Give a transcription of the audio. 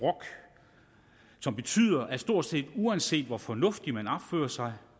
som betyder at stort set uanset hvor fornuftigt man opfører sig